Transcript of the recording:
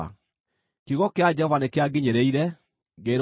Kiugo kĩa Jehova nĩkĩanginyĩrĩire, ngĩĩrwo atĩrĩ: